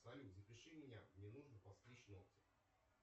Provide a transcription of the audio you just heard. салют запиши меня мне нужно подстричь ногти